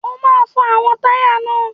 O máa fọ àwọn táyà náà.